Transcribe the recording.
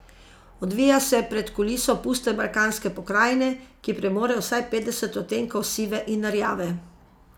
Odvija se pred kuliso puste balkanske pokrajine, ki premore vsaj petdeset odtenkov sive in rjave.